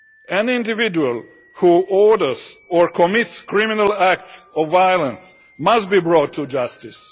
An individual who orders or commits criminal acts of violence must be brought to justice.